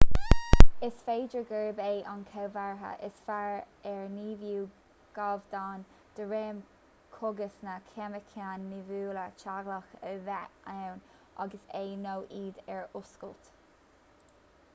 is féidir gurb é an comhartha is fearr ar nimhiú gabhdán de réim cógas nó ceimiceáin nimhiúla teaghlaigh a bheith ann agus é nó iad ar oscailt